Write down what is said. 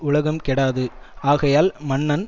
உலகம் கெடாது ஆகையால் மன்னன்